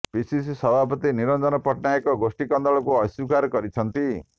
PCC ସଭାପତି ନିରଞ୍ଜନ ପଟ୍ଟନାୟକ ଗୋଷ୍ଠୀ କନ୍ଦଳକୁ ଅସ୍ୱୀକାର କରିଛନ୍ତି